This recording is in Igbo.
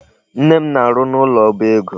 Nne m na-arụ n'ụlọ oba ego.